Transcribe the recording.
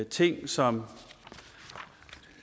ting som